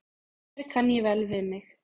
Hér kann ég vel við mig.